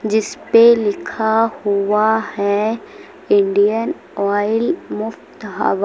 जिस पे लिखा हुआ है इंडियन ऑयल मुफ़्त हवा।